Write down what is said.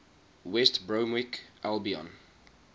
west bromwich albion